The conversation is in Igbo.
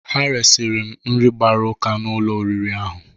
Ha resiri m nri gbara ụka n;ụlọ nri ahụ.